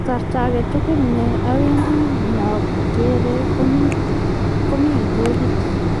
kasarta ag'etugul ne awendi nya kerei ko mi kitokit